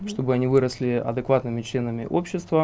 чтобы они выросли адекватными членами общества